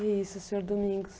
É isso, senhor Domingos.